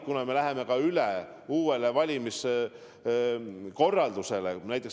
Me läheme üle uuele valimiskorraldusele.